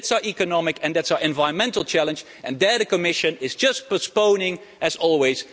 That's our economic and our environmental challenge, and the Commission is just postponing, as always.